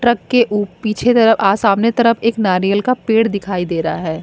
Truck के ऊ पीछे तरफ आ सामने तरफ एक नारियल का पेड़ दिखाई दे रहा है।